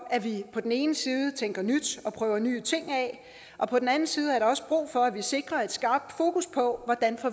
at vi på den ene side tænker nyt og prøver nye ting af og på den anden side er der også brug for at vi sikrer et skarpt fokus på hvordan